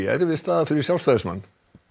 erfið staða fyrir Sjálfstæðismann